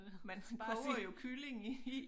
Man koger jo kylling i